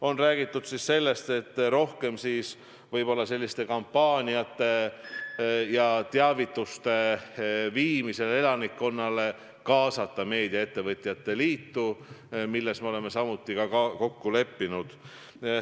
On räägitud sellest, et rohkem võiks kampaaniate puhul ja elanikkonna teavitamisel kaasata meediaettevõtete liitu, milles me oleme samuti kokku leppinud.